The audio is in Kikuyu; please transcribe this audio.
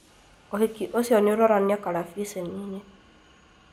ũhiki ũcio nĩũronanio karabiceni-inĩ